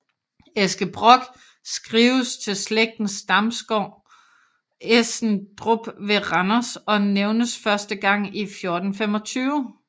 Eske Brock skrives til slægtens stamgård Essendrup ved Randers og nævnes første gang i 1425